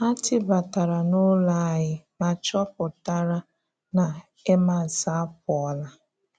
Ha tìbàtàrà n’ụlọ ànyí ma chọ̀pụ̀tàrà na Emmàs apụọ́lá.